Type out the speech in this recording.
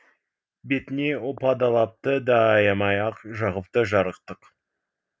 бетіне опа далапты да аямай ақ жағыпты жарықтық